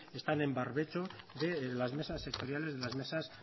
están en barbecho de las mesas sectoriales de las mesas